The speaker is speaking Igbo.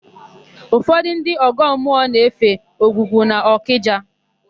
Ụfọdụ ndị ọgọmmụọ na-efe Ogwugwu n'Ọkịja.